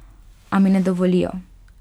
A mi ne dovolijo.